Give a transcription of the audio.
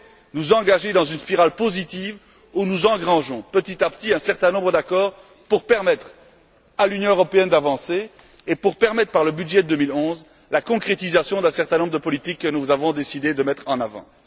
nous nous engager dans une voie positive où nous engrangeons, petit à petit, un certain nombre d'accords pour permettre à l'Union européenne d'avancer et pour permettre, par le budget 2011, la concrétisation d'un certain nombre de politiques que nous avons décidé de mettre en avant?